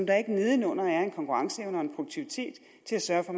er ikke nedenunder en konkurrenceevne og en produktivitet til at sørge for